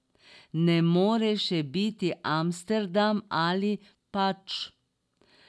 Ne more še biti Amsterdam, ali pač?